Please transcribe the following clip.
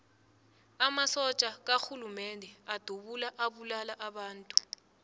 amasotja karhulumende adubula abulala abantu